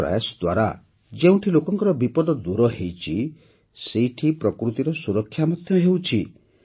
ଏହି ପ୍ରୟାସ ଦ୍ୱାରା ଯେଉଁଠି ଲୋକଙ୍କର ବିପଦ ଦୂର ହୋଇଛି ସେଇଠି ପ୍ରକୃତିର ସୁରକ୍ଷା ମଧ୍ୟ ହେଉଛି